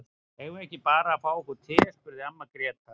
Eigum við ekki bara að fá okkur te, spurði amma Gréta.